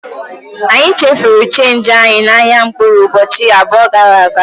Anyị chefuru chenji anyị n'ahịa mkpụrụ ụbọchị abụọ gara aga.